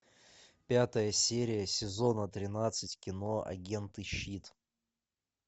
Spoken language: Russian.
пятая серия сезона тринадцать кино агенты щит